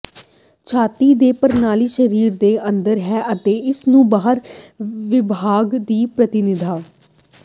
ਛਾਤੀ ਦੇ ਪ੍ਰਣਾਲੀ ਸਰੀਰ ਦੇ ਅੰਦਰ ਹੈ ਅਤੇ ਇਸ ਨੂੰ ਬਾਹਰ ਵਿਭਾਗ ਦੀ ਪ੍ਰਤੀਨਿਧਤਾ